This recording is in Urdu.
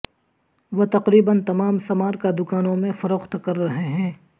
وہ تقریبا تمام سمارکا دکانوں میں فروخت کر رہے ہیں